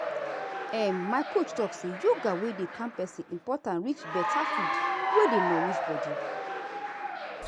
um my coach talk say yoga wey dey calm person important reach better food wey dey nourish body.